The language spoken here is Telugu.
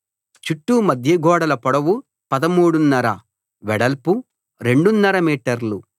చుట్టూ మధ్యగోడల పొడవు పదమూడున్నర వెడల్పు రెండున్నర మీటర్లు